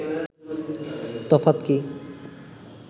তফাৎ কি